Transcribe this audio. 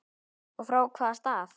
Og frá hvaða stað?